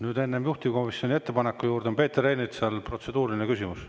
Nüüd enne juhtivkomisjoni ettepaneku juurde on Peeter Ernitsal protseduuriline küsimus.